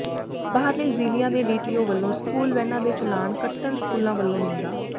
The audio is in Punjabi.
ਬਾਹਰਲੇ ਜ਼ਿਲਿ੍ਹਆਂ ਦੇ ਡੀਟੀਓ ਵੱਲੋਂ ਸਕੂਲ ਵੈਨਾਂ ਦੇ ਚਲਾਣ ਕੱਟਣ ਸਕੂਲਾਂ ਵੱਲੋਂ ਨਿੰਦਾ